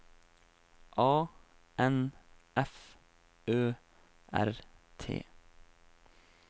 A N F Ø R T